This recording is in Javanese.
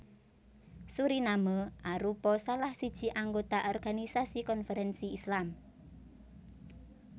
Suriname arupa salah siji anggota Organisasi Konferensi Islam